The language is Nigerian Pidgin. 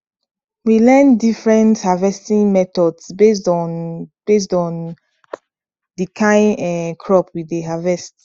we learn different harvesting methods based on based on the kain um crop we dey harvest